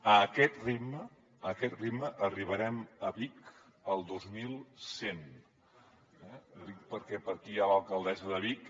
a aquest ritme a aquest ritme arribarem a vic el dos mil cent eh ho dic perquè per aquí hi ha l’alcaldessa de vic